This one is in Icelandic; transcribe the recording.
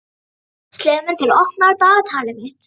slefmundur, opnaðu dagatalið mitt.